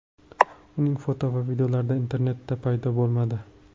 Uning foto va videolari internetda paydo bo‘lmadi.